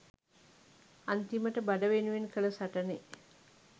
අන්තිමට බඩ වෙනුවෙන් කල සටනෙ